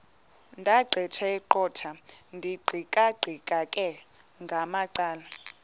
ndaqetheqotha ndiqikaqikeka ngamacala